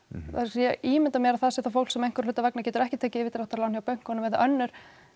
ég ímynda mér að það sé þá fólk sem einhverra hluta vegna getur ekki tekið yfirdráttarlán hjá bönkunum eða önnur